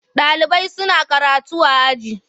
Ɗalibai suna karatu a aji.